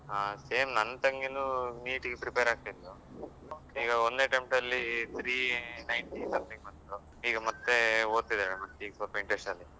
Same ನನ್ ತಂಗಿನೂ NEET ಗೆ prepare ಆಗ್ತಿದ್ಲು ಈಗ ಒಂದ್ನೆ attempt ಅಲ್ಲಿ three ninety something ಬಂದಿದ್ದು ಈಗ ಮತ್ತೆ ಒದ್ತಿದ್ದಾಳೆ ಮತ್ತೆ ಈಗ ಸ್ವಲ್ಪ interest .